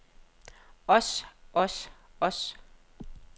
os os os